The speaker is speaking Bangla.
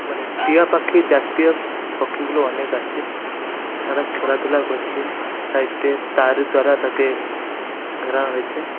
মানে টিয়া পাখি জাতীয় পক্ষীগুলো অনেক আছে তারা খেলাধুলা করছে। সাইড -এ তার দ্বারা তাকে ধরা হয়েছে।